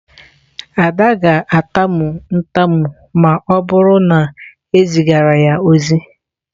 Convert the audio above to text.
Ada ga-atamu ntamu ma o buru na ezigara ya ozi.